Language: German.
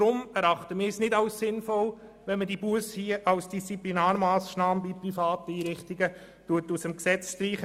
Darum erachten wir es nicht als sinnvoll, hier die Busse als Disziplinarmassnahme in privaten Einrichtungen aus dem Gesetz zu streichen.